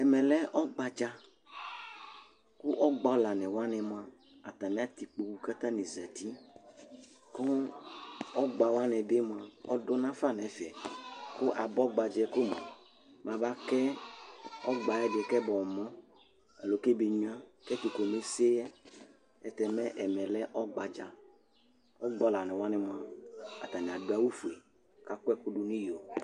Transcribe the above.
Ɛmɛlɛ ɔgbaɗja ƙʊ agɓa ɔlawʊanɩ atanɩ atɛ ɩƙpoƙʊ ƙʊ atanɩ azatɩ ƙʊ ɔgɓawanɩɓɩ ɔɗʊnafa nʊ ɛfɛ ƙʊ aɓa ɔgɓaɗjaƴɛmʊa amaƙaƴɛ ɔgɓaɗɩ ƙɛmamɔ alo ƙɛɓenŋʊa mɛ ɛtʊ ƙomeseƴɛ aƴɛlʊtɛmɛ ɛmɛƴɛlɛ ɔgɓaɗja agɓa ɔlawanɩ atanɩ aɗʊ awʊ ofʊe ƙʊ aƙʊɛƙʊɗʊnʊ ɩƴo